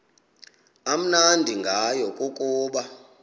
amnandi ngayo kukuba